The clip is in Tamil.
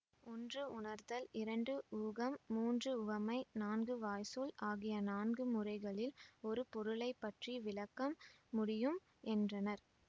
ஒன்று உணர்தல் இரண்டு ஊகம் மூன்று உவமை நான்கு வாய்ச்சொல் ஆகிய நான்கு முறைகளில் ஒரு பொருளை பற்றி விளக்கம் முடியும் என்றனர்